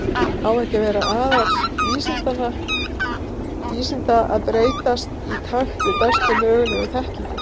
Á það ekki að vera aðall vísinda að breytast í takt við bestu mögulegu þekkingu?